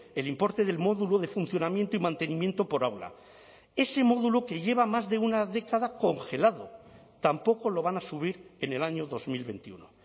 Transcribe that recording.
el importe del módulo de funcionamiento y mantenimiento por aula ese módulo que lleva más de una década congelado tampoco lo van a subir en el año dos mil veintiuno